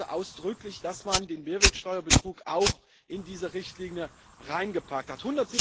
Ich begrüße ausdrücklich, dass man den Mehrwertsteuerbetrug auch in diese Richtlinie hineingepackt hat.